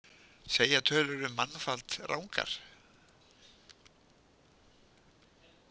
Segja tölur um mannfall rangar